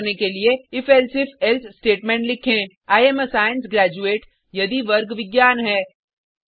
print करने के लिए if elsif एल्से स्टेटमेंट लिखें I am a science graduate यदि वर्ग विज्ञान है